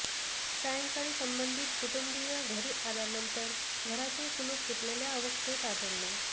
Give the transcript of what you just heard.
सांयकाळी संबंधित कुटुंबीय घरी आल्यानंतर घराचे कुलूप तुटलेल्या अवस्थेत आढळले